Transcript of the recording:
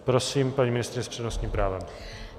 Prosím, paní ministryně s přednostním právem.